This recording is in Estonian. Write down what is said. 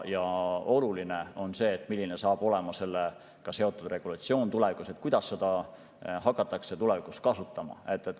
Ja oluline on see, milline saab olema sellega seotud regulatsioon tulevikus, kuidas seda hakatakse tulevikus kasutama.